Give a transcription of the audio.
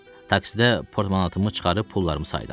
Taksidə portmanatımı çıxarıb pullarımı saydım.